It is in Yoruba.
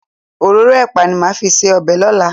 Òróró ẹ̀pà ni màá fi ṣe ọbẹ̀ lọ́la.